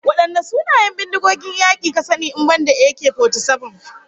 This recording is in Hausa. Wadanne sunayen bindigogin yaki ka sani in banda AK-47?